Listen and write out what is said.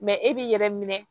e b'i yɛrɛ minɛ